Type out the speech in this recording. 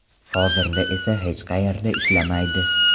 Hozirda esa hech qayerda ishlamaydi.